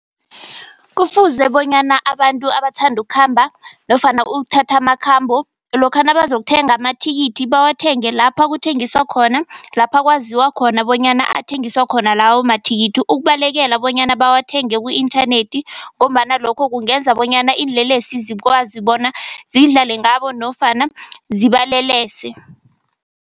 Kufuze bonyana abantu abathanda ukukhamba nofana ukuthatha amakhambo, lokha nabazokuthenga amathikithi bawathenge lapha kuthengiswa khona. Lapha kwaziwa khona bonyana athengiswa khona lawo amathikithi. Ukubalekela bonyana bawathenge ku-inthanethi ngombana lokho kungenza bonyana iinlelesi zikwazi bona zidlale ngabo nofana zibalelese.